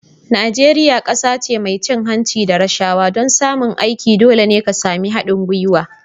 Najeriya kasa ce mai cin hanci da rashawa. don samun aiki dole ne ka sami haɗin gwiwa